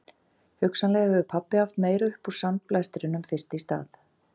Hugsanlega hefur pabbi haft meira upp úr sandblæstrinum fyrst í stað